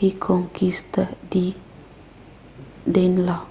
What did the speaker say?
rikonkista di danelaw